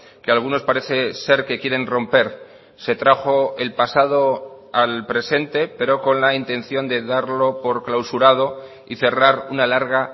que algunos parece ser que quieren romper se trajo el pasado al presente pero con la intención de darlo por clausurado y cerrar una larga